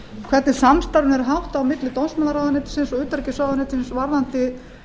hvernig samstarfinu er háttað á milli dómsmálaráðuneytisins og utanríkisráðuneytisins varðandi